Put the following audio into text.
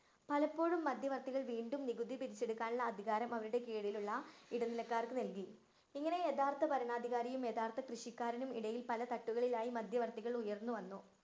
പലപ്പോഴും മധ്യവര്‍ത്തികള്‍ വീണ്ടും നികുതി പിരിച്ചെടുക്കാനുള്ള അധികാരം അവരുടെ കീഴിലുള്ള ഇടനിലക്കാര്‍ക്ക് നല്‍കി. ഇങ്ങനെ യഥാര്‍ത്ഥ ഭരണാധികാരിയും, യഥാര്‍ത്ഥ കൃഷിക്കാരനും ഇടയില്‍ പല തട്ടുകളിലായി മധ്യവര്‍ത്തികള്‍ ഉയര്‍ന്നു വന്നു.